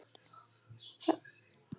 Það eru liðin sex ár síðan ég hætti.